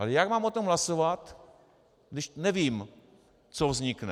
Ale jak mám o tom hlasovat, když nevím, co vznikne?